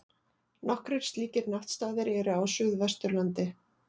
Nokkrir slíkir náttstaðir eru á Suðvesturlandi.